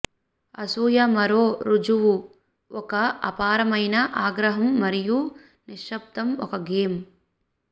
అసూయ మరో రుజువు ఒక అపారమయిన ఆగ్రహం మరియు నిశ్శబ్దం ఒక గేమ్